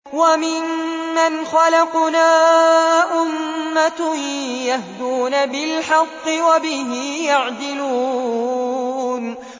وَمِمَّنْ خَلَقْنَا أُمَّةٌ يَهْدُونَ بِالْحَقِّ وَبِهِ يَعْدِلُونَ